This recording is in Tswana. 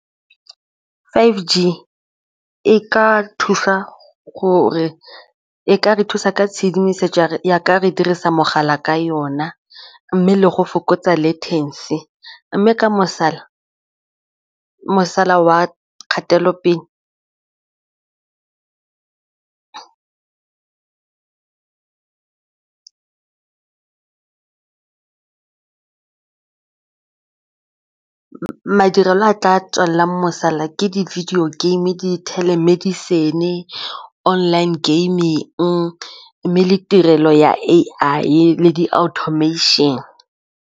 five G e ka re thusa ka tshedimosetso ya ka re dirisa mogala ka yona mme le go fokotsa le mme ka wa kgatelopele madirelo a tla tswelelang mosola ke di-video game, di-telemedicine le online gaming mme le tirelo ya A_I le di-automation.